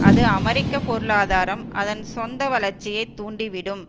அது அமெரிக்க பொருளாதாரம் அதன் சொந்த வளர்ச்சியை தூண்டி விடும்